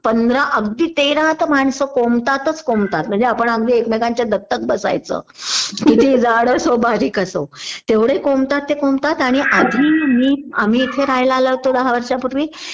पंधरा अगदी तेरा तर माणसं कोंबतातच कोंबतात म्हणजे आपण अगदी एकमेकांच्या दत्तक बसायचं कितीहि जाड असो बारीक असो तेवढे कोंबतात ते कोंबतात आणि आधी आम्ही इथे राहायला आलो होतो दहा वर्षांपूर्वी